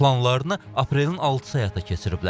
Planlarını aprelin 6-sı həyata keçiriblər.